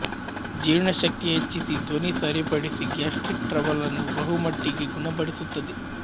ಜೀರ್ಣಶಕ್ತಿ ಹೆಚ್ಚಿಸಿ ಧ್ವನಿ ಸರಿಪಡಿಸಿ ಗ್ಯಾಸ್ಟ್ರಿಕ್ ಟ್ರಬಲ್ ನ್ನು ಬಹುಮಟ್ಟಿಗೆ ಗುಣಪಡಿಸುತ್ತದೆ